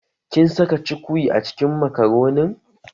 Kin saka cukwi a cikin makaronin?